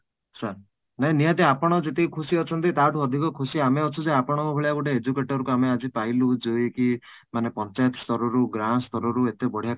sir ନାଇଁ ନିହାତି ଆପଣ ଯେତିକି ଖୁସି ଅଛନ୍ତି ତା ଠୁ ଅଧିକ ଖୁସି ଆମେ ଅଛୁ ଯେ ଆପଙ୍କ ଭଳିଆ ଜଣେ educator କୁ ଆମେ ଆଜି ପାଇଲୁ ଯେ କି ମାନେ ପଞ୍ଚାୟତ ସ୍ତର ରୁ ଗାଁ ସ୍ତର ରୁ ଏତେ ବଢିଆ କାମ